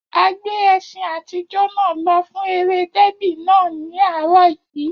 A gbé ẹṣin àtijọ́ náà lọ fún eré dẹ́bì náà ní àárọ̀ yìí